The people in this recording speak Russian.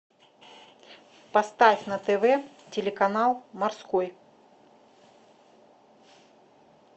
поставь на тв телеканал морской